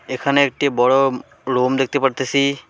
এখানে একটি বড় রুম দেখতে পারতেছি।